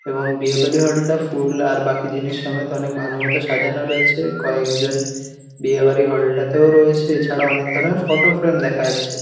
এবং বিয়ে বাড়ি ফুল আর বাকি জিনিস সমেত অনেক ভালোমতো সাজানো রয়েছে কয়েকজন বিয়ে বাড়ি হল টা তেও রয়েছে এছাড়া অনেক ধরনের ফটো ফ্রেম দেখা যাচ্ছে।